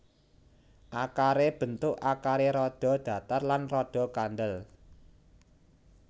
Akaré bentuk akaré rada datar lan rada kandhel